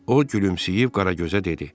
O gülümsəyib Qaragözə dedi: